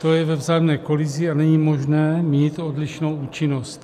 To je ve vzájemné kolizi a není možné mít odlišnou účinnost.